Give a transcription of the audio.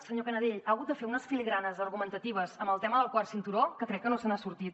senyor canadell ha hagut de fer unes filigranes argumentatives en el tema del quart cinturó que crec que no se n’ha sortit